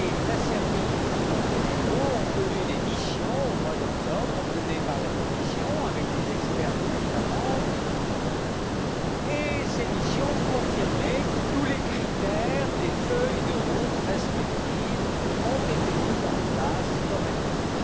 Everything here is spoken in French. La Serbie et le Monténégro ont connu des missions au mois d'octobre, menées par la Commission, avec les experts des États membres, et ces missions confirmaient que tous les critères des feuilles de route respectives ont été mis en place correctement.